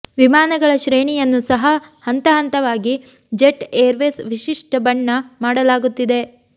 ವಿಮಾನಗಳ ಶ್ರೇಣಿಯನ್ನು ಸಹ ಹಂತಹಂತವಾಗಿ ಜೆಟ್ ಏರ್ವೇಸ್ ವಿಶಿಷ್ಟ ಬಣ್ಣ ಮಾಡಲಾಗುತ್ತಿದೆ